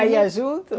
Ela ia junto?